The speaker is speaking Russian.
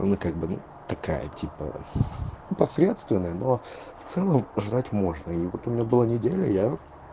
она как бы ну такая типа посредственная но в целом ждать можно и вот у меня была неделя я